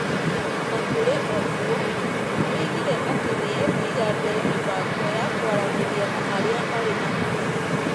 O na kũrĩ ũguo, nĩ oigire atĩ nĩ ekũiga mbere mĩbango ya kwaranĩria na arĩa marĩ na itemi.